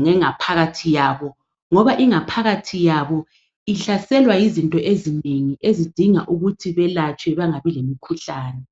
ngengaphakathi yabo ngoba ingaphakathi yabo ihlaselwa yizinto ezinengi ezidinga ukuthi belatshwe bengabi lomkhuhlane.